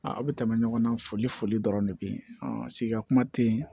A bɛ tɛmɛ ɲɔgɔnna foli foli dɔrɔn de bɛ yen sigida kuma tɛ yen